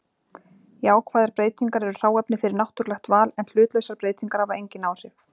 Jákvæðar breytingar eru hráefni fyrir náttúrulegt val en hlutlausar breytingar hafa engin áhrif.